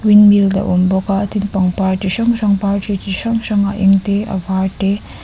wind mill a awm bawk a tin pangpar chi hrang hrang par ṭhi chi hrang hrang a eng tê a vâr te --